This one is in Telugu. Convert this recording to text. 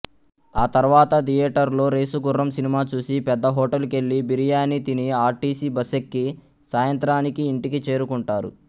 ఆ తర్వాత థియేటరులో రేసుగుర్రం సినిమా చూసి పెద్ద హోటలుకెళ్ళి బిరియాని తిని ఆర్టీసీ బస్సెక్కి సాయంత్రానికి ఇంటికి చేరుకుంటారు